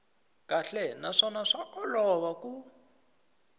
kahle naswona swa olova ku